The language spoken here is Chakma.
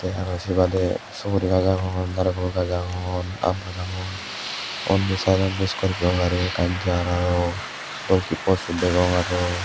tey aro say badey suguri gaj agon narikol gaj agon aam gaj agon undi sidedodi scorpio gari ekkan jar aro golki possun degong aro.